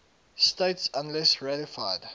states unless ratified